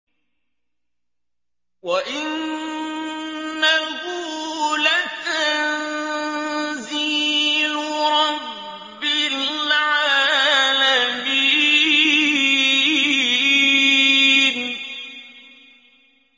وَإِنَّهُ لَتَنزِيلُ رَبِّ الْعَالَمِينَ